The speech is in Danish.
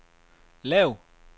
lav